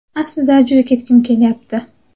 Aslida juda ketgim kelyapti.